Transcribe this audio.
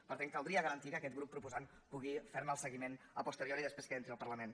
per tant caldria garantir que aquest grup proposant pugui fer ne el seguiment a posteriori després que entri al parlament